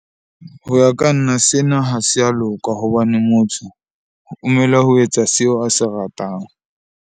Ho ya ka nna sena ha se a loka hobane motho o ho etsa seo a se ratang.